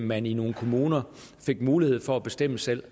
man i nogle kommuner fik mulighed for at bestemme selv